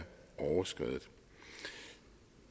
overskredet